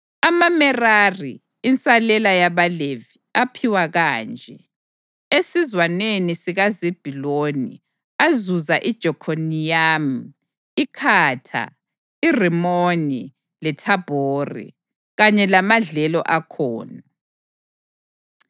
AmaMerari (insalela yabaLevi) aphiwa kanje: esizwaneni sikaZebhuluni azuza iJokhiniyamu, iKhatha, iRimoni leThabhori, kanye lamadlelo akhona;